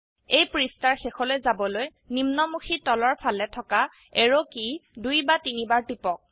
এই পৃষ্ঠাৰ শেষলৈ যাবলৈ নিম্নমুখী তলৰফালে থকা এৰো কী দুই বা তিনিবাৰ টিপক